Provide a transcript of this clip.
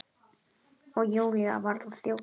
Og Júlía varð að þjóta.